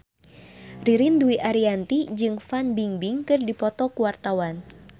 Ririn Dwi Ariyanti jeung Fan Bingbing keur dipoto ku wartawan